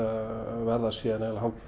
verða svo eiginlega hálf